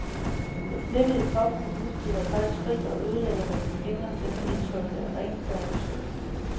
Den snehvide påfugl udstøder et højt skrig og ødelægger med den skingre stemme indtrykket af renfærdig skønhed.